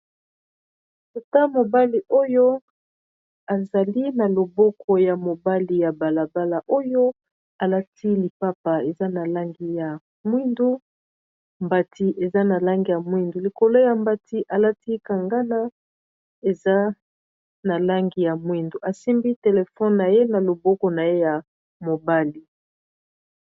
Tata mobali oyo azali na loboko ya mobali ya balabala oyo alati lipapa eza na langi ya mwindu mbati eza na langi ya mwindu mbati eza na langi ya mwindu likolo ya mbati alati kangana eza na langi ya mwindu asimbi telefone na ye na loboko na ye ya mobali.